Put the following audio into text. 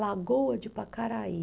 Lagoa de Pacaraí.